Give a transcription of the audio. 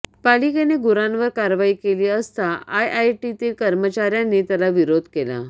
पालिकेने गुरांवर कारवाई केली असता आयआयटीतील कर्मचाऱयांनी त्याला विरोध केला